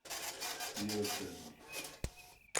Miro Cerar?